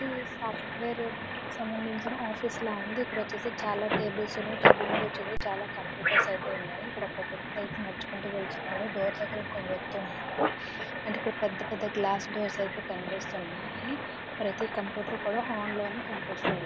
ఇది సాఫ్ట్వేర్ కీ సంబంధించిన ఆఫీస్ లాగా ఉంది. ఇక్కడ చాలా టేబుల్స్ ఉన్నాయి. టేబుల్ మీద వచ్చేసి చాలా కంప్యూటర్స్ ఐతే ఉన్నాయి. ఇక్కడ ఒక వ్వక్తి అయితే నడుచుకొని వెళ్తున్నాడు. డోర్ దగ్గర ఇంకొక వ్వక్తి ఉన్నాడు. ఏంటీ పెద్దపెద్ద గ్లాస్ డోర్స్ అయితే కనిపిస్తునాయి. ప్రతి కంప్యూటర్ కూడా ఆన్ లోనే కనిపిస్తోంది.